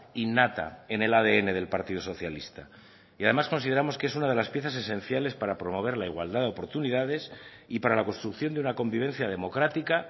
innata en el adn del partido socialista y además consideramos que es una de las piezas esenciales para promover la igualdad de oportunidades y para la construcción de una convivencia democrática